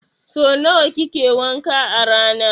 So nawa kike wanka a rana?